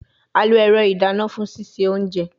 A lo ẹrọ idana fun sise ounje